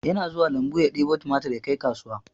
Yana zuwa lambu ya ɗebo tumatur yakai kasuwa